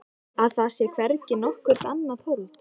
Að það sé hvergi nokkurt annað hold.